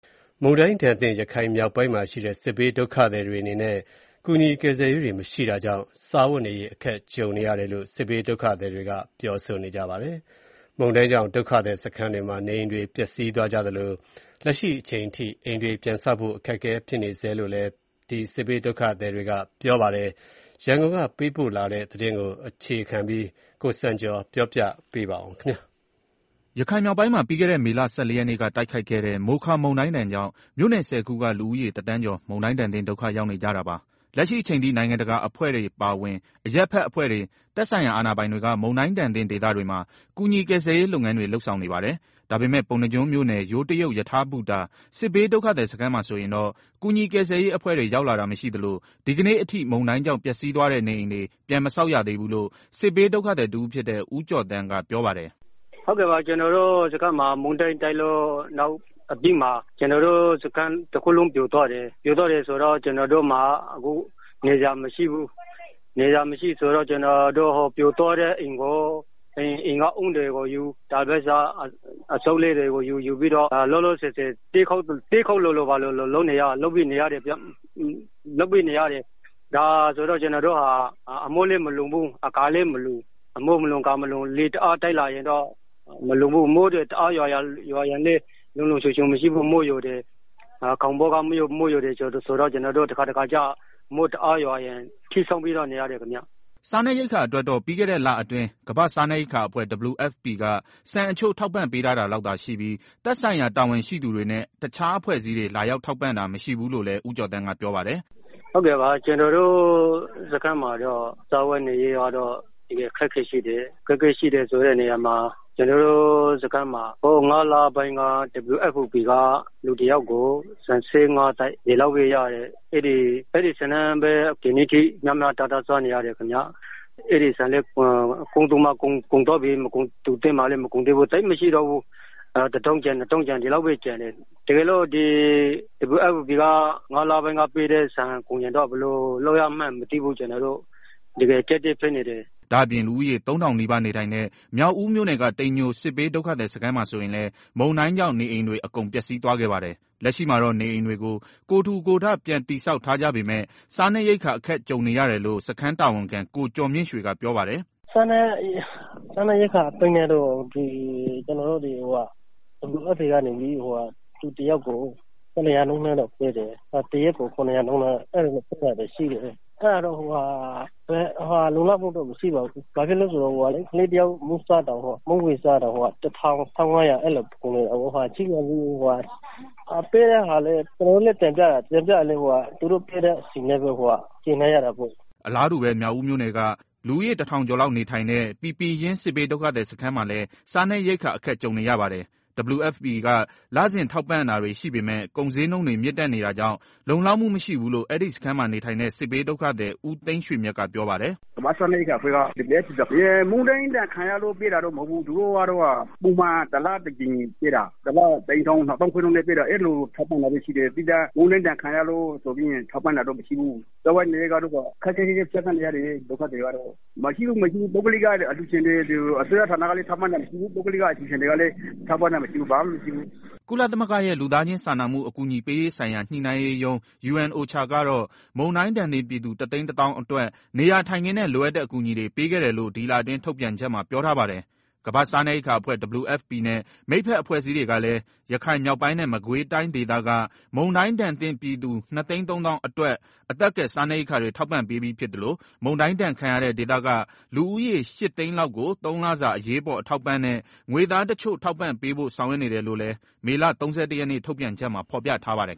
မုန်တိုင်းဒဏ်သင့် ရခိုင်မြောက်ပိုင်းမှာရှိတဲ့ စစ်ဘေးဒုက္ခသည်တွေအနေနဲ့ ကူညီ ကယ်ဆယ်ရေးတွေ မရှိတာကြောင့် စားဝတ်နေရေး အခက်ကြုံနေရတယ်လို့ စစ်ဘေးဒုက္ခသည်တွေက ပြောဆိုကြပါတယ်။ မုန်တိုင်းကြောင့် ဒုက္ခသည်စခန်းတွေမှာ နေအိမ်တွေ ပျက်စီးသွားကြသလို လက်ရှိအချိန်ထိ အိမ်တွေပြန်ဆောက်ဖို့ ခက်ခဲနေဆဲဖြစ်တယ်လို့လည်း စစ်ဘေးဒုက္ခသည်တွေက ပြောပါတယ်။ ရန်ကုန်ကလာတဲ့ သတင်းကို အခြေခံပြီး ကိုစံကျော်က တင်ပြပေးပါမယ်။ ရခိုင်မြောက်ပိုင်းမှာ ပြီးခဲ့တဲ့ မေလ ၁၄ရက်နေ့က တိုတ်ခတ်ခဲ့တဲ့ မိုခါ မုန်တိုင်းကြောင့် မြို့နယ် ၁၀ခုက လူဦးရေ တသန်းကျော် မုန်တိုင်းဒဏ်သင့် ဒုက္ခရောက်နေကြတာပါ။ လက်ရှိအချိန်ထိ နိုင်ငံတကာအဖွဲ့တွေ အပါအဝင် အရပ်ဖက်အဖွဲ့တွေ၊ သက်ဆိုင်ရာ အာဏာပိုင်တွေက မုန်တိုင်းဒဏ်သင့်ဒေသတွေမှာ ကူညီကယ်ဆယ်ရေး လုပ်ငန်းတွေ လုပ်ဆောင်နေပါတယ်။ ဒါပေမယ့် ပုဏ္ဏားကျွန်းမြို့နယ် ယိုးတရုတ် ရထားဘူတာ စစ်ဘေးဒုက္ခသည်စခန်းမှာဆိုရင်တော့ ကူညီကယ်ဆယ်ရေးအဖွဲ့တွေ ရောက်လာတာမရှိသလို ဒီကနေ့အထိ မုန်တိုင်းကြောင့် ပျက်သွားတဲ့နေအိမ်တွေ ပြန်မဆောက်မရသေးဘူးလို့ စစ်ဘေးဒုက္ခသည်တဦးဖြစ်တဲ့ ဦးကျော်သန်းက ပြောပါတယ်။ “ကျနော်တို့စခန်းမှာ မုန်တိုင်းတိုက်ပြီးနောက် စခန်းတခုလုံး အကုန်လုံး ပြိုသွားပါတယ်။ ပြိုသွားတယ်ဆိုတော့ ကျနော်တို့မှာ အခု နေစရာမရှိဘူး။ ဆိုတော့ ကျနော်တို့ဟာ ပြိုသွားတဲ့အိမ်က ဓနိတွေကိုယူ၊ တာပေါ်လိပ်အစုတ်တွေကို ယူပြီးတော့ လောလောဆယ် တဲပုံစံလုပ်ပြီးတော့ နေရတယ်။ ဒါပေမယ့် အမိုးလည်းမလုံဘူး၊ အကာလည်းမလုံဘူး၊ လေတအားတိုက်လာရင်လည်း မလုံဘူး။ မိုးတွေတအားရွာရင်လည်း လုံလုံခြုံခြုံ မရှိဘူး၊ ခေါင်မိုးက မိုးယိုတယ်။ ကျနော်တို့ တခါတခါ မိုးတအားရွာရင် ထီးဆောင်းပြီးတော့ နေရတယ်။” စားနပ်ရိက္ခာအတွက်တော့ ပြီးခဲ့တဲ့လအတွင်း ကမ္ဘာ့စားနပ်ရိက္ခာအဖွဲ့ WFP က ဆန်အချို့ ထောက်ပံ့ပေးထားတာလောက်သာရှိပြီး သက်ဆိုင်ရာ တာဝန်ရှိသူတွေနဲ့ တခြားအဖွဲ့အစည်းတွေ လာရောက်ထောက်ပံ့တာ မရှိဘူးလို့လည်း ဦးကျော်သန်းက ပြောပါတယ်။ “ကျနော်တို့ စခန်းမှာ စားဝတ်နေရေးကတော့ တကယ် အခက်အခဲရှိတယ်။ ကျနော်တို့စခန်းမှာ ၅လပိုင်းက WFP က လူတယောက်ကို ဆန် ၇၅ဗူး ပေးတယ်။ အဲဒီဆန်နဲ့ပဲ ဒီနေ့အထိ မျှပြီးတော့ စားနေရတယ်ခင်မျာ။ အဲဒီဆန်လည်း ကုန်တဲ့သူမှာကုန်သွားပြီ၊ မကုန်တဲ့သူတွေမှာလည်း မကုန်သေးဘူး၊ သိပ်လည်းမရှိတော့ဘူး။ တကယ်လို့ အဲဒီဆန်သာကုန်ရင် ဘယ်လိုလုပ်ရမှန်း မသိဘူး။ ကျနော်တို့ တကယ် အခက်အခဲ ဖြစ်နေတယ်။” ဒါ့အပြင် လူဦးရေ ၃,၀၀၀နီးပါး နေထိုင်တဲ့ မြောက်ဦးမြို့နယ်က တိမ်ညို စစ်ဘေးဒုက္ခသည်စခန်းမှာဆိုရင်လည်း မုန်တိုင်းကြောင့် နေအိမ်တွေ အကုန် ပျက်စီးသွားခဲ့ပါတယ်။ လက်ရှိမှာတော့ နေအိမ်တွေကို ကိုယ်ထူကိုယ်ထ ပြန်တည်ဆောက်ထားကြပေမယ့် စားနပ်ရိက္ခာ အခက်ကြုံနေရတယ်လို့ စခန်းတာဝန်ခံ ကိုကျော်မြင့်ရွှေက ပြောပါတယ်။ “စားနပ်ရိက္ခာအပိုင်းနဲ့တော့ WFP နေပြီးတော့ တနေ့စာအတွက် လူတယောက်ကို ၇၀၀နှုန်း ပေးတယ်။ အဲတာကလည်း လုံလောက်မှုတော့ မရှိပါဘူး။ ဘာဖြစ်လို့လည်းဆိုတော့ အခုအချိန်က ကလေးတယောက် မုန့်ဝယ်စားရင်တောင် ၁၅၀၀လောက်ကုန်နေတာ။ ကျနော်တို့ကတော့ တင်ပြတယ်၊ ဒါပေမယ့် သူတို့ပေးသလောက်နဲ့ ကြေနပ်ရတာပေါ့။” အလားတူပဲ မြောက်ဦးမြို့နယ်က လူဦးရေ တထောင်ကျော်လောက် နေထိုင်တဲ့ ပီပင်ရင်း စစ်ဘေးဒုက္ခသည်စခန်းမှာလည်း စားနပ်ရိက္ခာ အခက်ကြုံနေရပါတယ်။ WFP က လစဉ်ထောက်ပံ့တာတွေရှိပေမယ့် ကုန်ဈေးနှုန်းတွေ မြင့်တက်နေတာကြောင့် လုံလောက်မှုမရှိဘူးလို့ အဲဒီစခန်း မှာ နေထိုင်တဲ့ စစ်ဘေးဒုက္ခသည် ဦးသိန်းရွှေမြတ်က ပြောပါတယ်။ “ကမ္ဘာ့စားနပ်ရိက္ခာအဖွဲ့ WFP က ပုံမှန် တလတကြိမ်ပေးတာ တအိမ်ထောင်ကို ၂သောင်းခွဲနှုန်းနဲ့ ပေးတာ၊ အဲလို ထောက်ပံ့တာတော့ရှိတယ်။သီးသန့် မုန်တိုင်းဒဏ်ခံရလို့ဆိုပြီး ထောက်ပံ့တာတော့မရှိဘူး။ ဒုက္ခသည်တွေကတော့ စားဝတ်နေရေး ခက်ခက်ခဲခဲ ဖြတ်သန်းနေရတယ်။ ပုဂ္ဂလိကအလှူရှင်တွေလည်း မရှိဘူး။ အစိုးရဌာနကလည်း ထောက်ပံ့တာ မရှိဘူး၊ ဘာမှ မရှိဘူး။” ကုလသမဂ္ဂရဲ့ လူသားချင်းစာနာမှု အကူအညီပေးရေးဆိုင်ရာ ညှိနှိုင်းရေးရုံး UN-OCHA ကတော့ မုန်တိုင်းဒဏ်သင့် ပြည်သူ ၁ သိန်း ၁ သောင်းအတွက် နေရာထိုင်ခင်းနဲ့ လိုအပ်တဲ့အကူအညီတွေ ပေးခဲ့တယ်လို့ ဒီလတွင်း ထုတ်ပြန်ချက်မှာ ပြောထားပါတယ်။ ကမ္ဘာ့စားနပ်ရိက္ခာအဖွဲ့ WFP နဲ့ မိတ်ဖက်အဖွဲ့အစည်းတွေကလည်း ရခိုင်မြောက်ပိုင်းနဲ့ မကွေးတိုင်းဒေသက မုန်တိုင်းဒဏ်သင့်ပြည်သူ ၂၃၀,၀၀၀ အတွက် အသက်ကယ် စားနပ်ရိက္ခာတွေ ထောက်ပံ့ပေးပြီးဖြစ်သလို မုန်တိုင်းဒဏ်ခံရတဲ့ ဒေသက လူဦးရေ ၈၀၀,၀၀၀ လောက်ကို သုံးလစာ အရေးပေါ် အထောက်အပံ့နဲ့ ငွေသားတချို့ ထောက်ပံ့ပေးဖို့ ဆောင်ရွက်နေတယ်လို့လည်း မေလ ၃၁ရက်နေ့ ထုတ်ပြန်ချက်မှာဖော်ပြ ထားပါတယ်